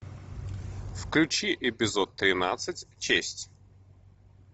включи эпизод тринадцать честь